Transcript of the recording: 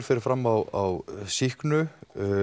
fer fram á sýknu